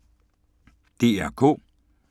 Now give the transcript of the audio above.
DR K